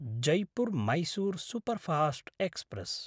Jaipur - Mysore superfast express